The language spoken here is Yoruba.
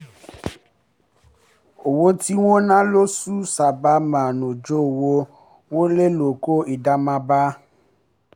owó tí wọ́n ná lósù sábà máa ń ju owó wọlé lọ kó ìdààmú bá a